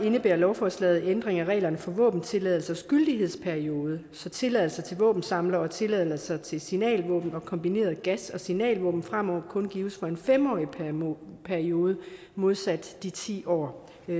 indebærer lovforslaget en ændring af reglerne for våbentilladelsers gyldighedsperiode så tilladelser til våbensamlere og tilladelser til signalvåben og kombinerede gas og signalvåben fremover kun gives for en fem årig periode periode modsat de ti år